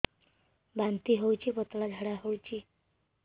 ବାନ୍ତି ହଉଚି ପତଳା ଝାଡା ହଉଚି